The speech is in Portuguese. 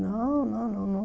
Não, não, não, não.